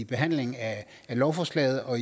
behandlingen af lovforslaget og